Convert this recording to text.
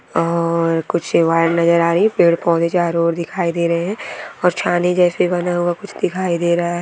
और कुछ पेड़ पौधे चारो और दिखाई दे रहे है और छानी जैसा बना हुआ कुछ दिखाई दे रहा है।